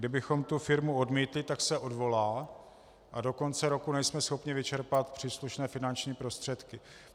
Kdybychom tu firmu odmítli, tak se odvolá a do konce roku nejsme schopni vyčerpat příslušné finanční prostředky.